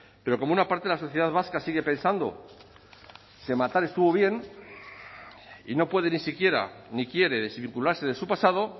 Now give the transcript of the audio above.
pero como una parte de la sociedad vasca sigue pensando que matar estuvo bien y no puede ni siquiera ni quiere desvincularse de su pasado